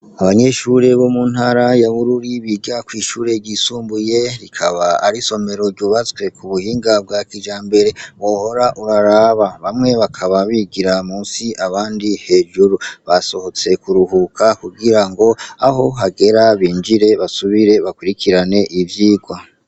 Abanyeshure bo mu ntara ya Bururi biga kw'ishure ryisumbuye rikaba ari somero ryubatswe ku buhinga bwa kijambere wohora uraraba. Bamwe bakaba bigira munsi, abandi hejuru. Basohotse kuruhuka kugira ngo aho hagera binjire basubire bakurikirane ivyigwa.